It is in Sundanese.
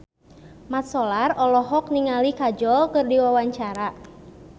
Mat Solar olohok ningali Kajol keur diwawancara